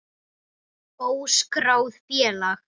Óskráð félag.